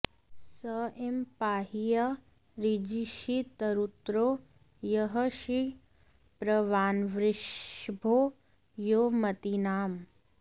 स ईं॑ पाहि॒ य ऋ॑जी॒षी तरु॑त्रो॒ यः शिप्र॑वान्वृष॒भो यो म॑ती॒नाम्